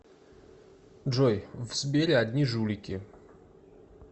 джой в сбере одни жулики